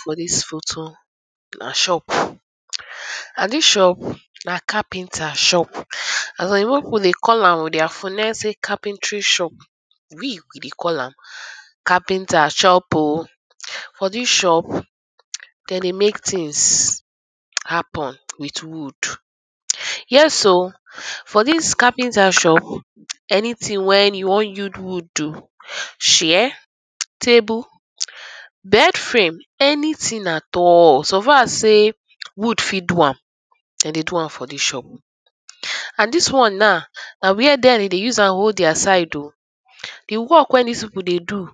For dis photo na shop, and dis shop ma carpenter shop as oyibo pipu dey call am with dia phonel say carpenter shop we dey call am carpenter shop oh. For dis shop dem dey make tins happen with wood, yes oh for dis carpenter shop anytin wey you wan use wood do, chair, table, bed frame, anytin at all so far sey wood fit do am dey dey do am for dis shop and dis one now na where dem dey use am hold dia side oh, di work wey dis pipu dey do